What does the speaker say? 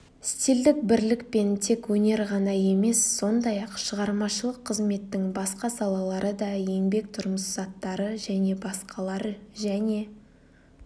стильдік бірлікпен тек өнер ғана емес сондай-ақ шығармашылық қызметтің басқа салалары да еңбек тұрмыс заттары және басқалар және